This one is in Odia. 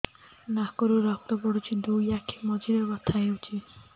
ନାକରୁ ରକ୍ତ ପଡୁଛି ଦୁଇ ଆଖି ମଝିରେ ବଥା ହଉଚି